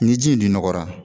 Ni ji in dun nɔgɔra